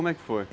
Como é que foi?